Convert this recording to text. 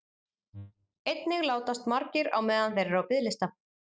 Einnig látast margir á meðan þeir eru á biðlista.